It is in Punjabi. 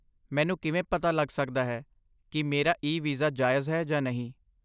ਮੈਨੂੰ ਕਿਵੇਂ ਪਤਾ ਲੱਗ ਸਕਦਾ ਹੈ ਕੀ ਮੇਰਾ ਈ ਵੀਜ਼ਾ ਜਾਇਜ ਹੈ ਜਾਂ ਨਹੀਂ ?